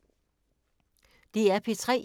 DR P3